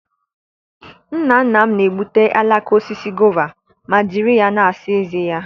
Nna nna m na-egbutu alaka osisi gova ma jiri ya na-asa ezé ya.